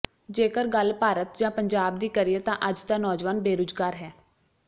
ਜੇਕਰ ਗੱਲ ਭਾਰਤ ਜਾਂ ਪੰਜਾਬ ਦੀ ਕਰੀਏ ਤਾਂ ਅੱਜ ਦਾ ਨੌਜਵਾਨ ਬੇਰੁਜ਼ਗਾਰ ਹੈ